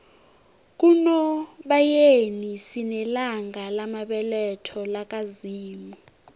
kunobayeni sinelanga lamabeletho laka zimu